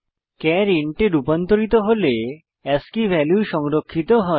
চার ইন্ট এ রুপান্তরিত হলে আস্কী ভ্যালু সংরক্ষিত হয়